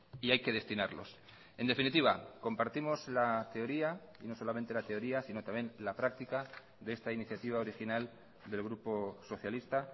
y hay que destinarlos en definitiva compartimos la teoría y no solamente la teoría sino también la práctica de esta iniciativa original del grupo socialista